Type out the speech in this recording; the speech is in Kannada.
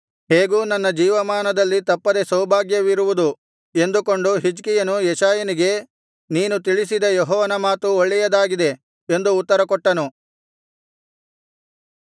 ಹೇಗೂ ನನ್ನ ಜೀವಮಾನದಲ್ಲಿ ತಪ್ಪದೆ ಸೌಭಾಗ್ಯವಿರುವುದು ಎಂದುಕೊಂಡು ಹಿಜ್ಕೀಯನು ಯೆಶಾಯನಿಗೆ ನೀನು ತಿಳಿಸಿದ ಯೆಹೋವನ ಮಾತು ಒಳ್ಳೆಯದಾಗಿದೆ ಎಂದು ಉತ್ತರಕೊಟ್ಟನು